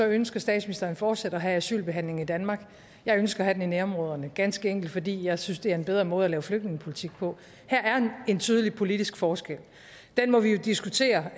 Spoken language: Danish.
ønsker statsministeren fortsat at have asylbehandling i danmark jeg ønsker at have den i nærområderne ganske enkelt fordi jeg synes det er en bedre måde at lave flygtningepolitik på her er en tydelig politisk forskel og den må vi jo diskutere